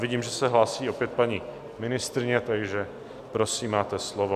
Vidím, že se hlásí opět paní ministryně, takže prosím, máte slovo.